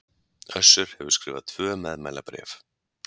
Össur hefur skrifað tvö meðmælabréf